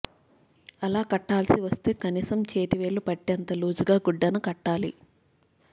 అలా కట్టాల్సివస్తే కనీసం చేతి వేలు పట్టేంత లూజుగా గుడ్డను కట్టాలి